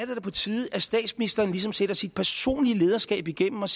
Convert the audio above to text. da på tide at statsministeren ligesom sætter sit personlige lederskab igennem og